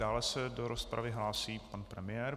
Dále se do rozpravy hlásí pan premiér.